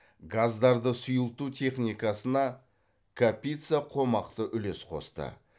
газдарды сұйылту техникасына капица қомақты үлес қосты